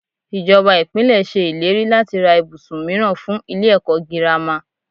Ìjọba Ìpínlẹ̀ ṣe ìlérí láti ra ibùsùn mìíràn fún ilé ẹ̀kọ́ girama.